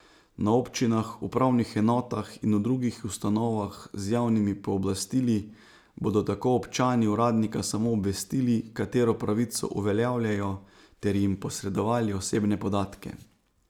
Na občinah, upravnih enotah in v drugih ustanovah z javnimi pooblastili bodo tako občani uradnika samo obvestili, katero pravico uveljavljajo ter jim posredovali osebne podatke.